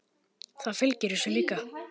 Það fylgir þessu líka.